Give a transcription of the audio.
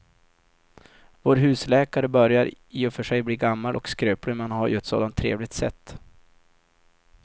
Vår husläkare börjar i och för sig bli gammal och skröplig, men han har ju ett sådant trevligt sätt!